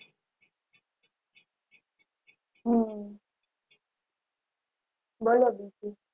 હમ બરોબર છે